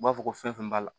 U b'a fɔ ko fɛn fɛn b'a la